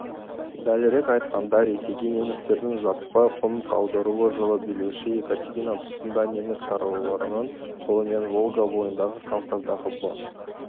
дәлірек айтқанда ресейге немістердің жаппай қоныс аударуы жылы билеуші екатерина тұсында неміс шаруаларының қолымен волга бойындағы кавказдағы бос